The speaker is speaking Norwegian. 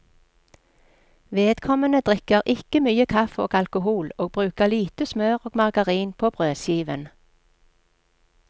Vedkommende drikker ikke mye kaffe og alkohol og bruker lite smør og margarin på brødskiven.